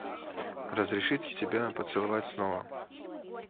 разрешите тебя поцеловать снова